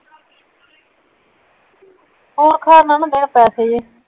ਹੋਰ